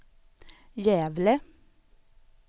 Gävle